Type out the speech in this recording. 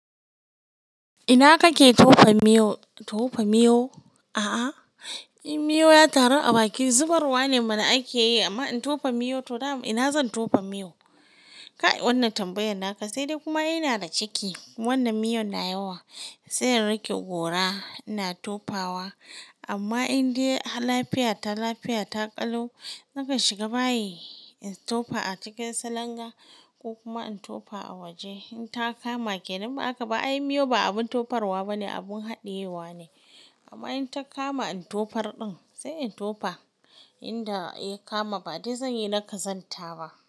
Ina kake tofa miyo? To fa miyo? A'a, in miyo ya taru a baki, zubarwa ne mana ake yi, amma in tofa miyo to ina zan tofa miyo? Kai wannan tambayan naka, sai dai kuma ina da ciki wannan miyon na yawa sai in rike gora ina tofawa. Amma in dai lafiya ta lafiya ta ƙalau, nakan shiga bayi in tofa a cikin salanga ko kuma in tofa a waje in ta kama. Kenan in ba haka ba ai miyo ba abin tofarwa bane, abun haɗiyewa ne. Amma in ta kama in tofar ɗin sai in tofa inda ya kama ba dai zan yi na kazanta ba.